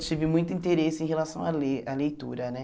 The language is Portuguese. Eu tive muito interesse em relação a ler à leitura, né?